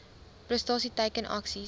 prestasie teiken aksies